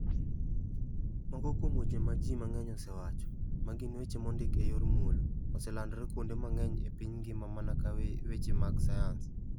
Moko kuom weche ma ji mang'eny osewacho, ma gin weche mondik e yor muolo, oselandore kuonde mang'eny e piny mangima mana ka weche mag sayans.